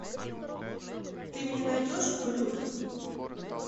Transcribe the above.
ты мне найдешь глюки